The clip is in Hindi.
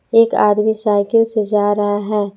एक आदमी साइकिल से जा रहा है।